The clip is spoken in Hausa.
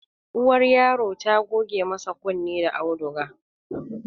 Uwar yaro ta goge masa kunne da auduga